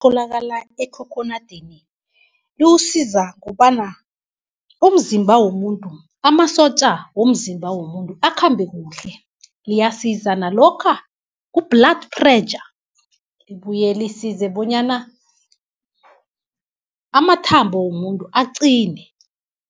Etholakala ekhokhonadini, liwusiza kobana, amasotja womzimba womuntu akhambe kuhle. Liyasiza nalokha ku-blood pressure, libuyelisize bonyana amathambo womuntu aqine.